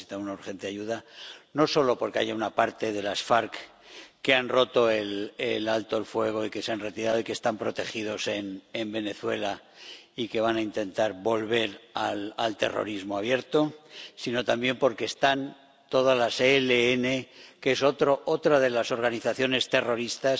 Necesita una urgente ayuda no solo porque haya una parte de las FARC que han roto el alto el fuego, que se han retirado y están protegidas en Venezuela y que van a intentar volver al terrorismo abierto, sino también porque están todas las ELN, que es otra de las organizaciones terroristas.